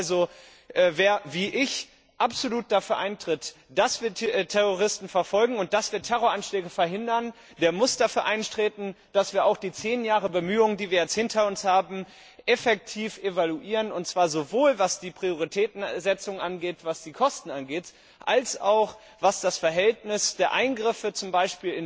Das heißt also, wer wie ich absolut dafür eintritt, dass wir Terroristen verfolgen und dass wir Terroranschläge verhindern, der muss dafür eintreten, dass wir auch die zehn Jahre Bemühungen, die wir hinter uns haben, effektiv evaluieren, und zwar sowohl was die Prioritätensetzung angeht, was die Kosten angeht, als auch was das Verhältnis der Eingriffe z. B.